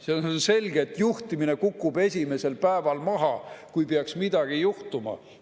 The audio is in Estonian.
See on selge, et juhtimine kukub esimesel päeval kokku, kui peaks midagi juhtuma.